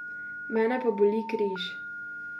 Mene pa boli križ.